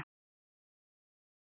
Og þú veist hvað sagt er?